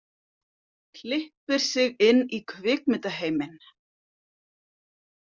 Klippir sig inn í kvikmyndaheiminn